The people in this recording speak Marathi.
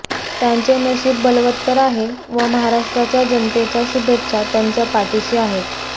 त्यांचे नशीब बलवत्तर आहे व महाराष्ट्राच्या जनतेच्या शुभेच्छा त्यांच्या पाठीशी आहेत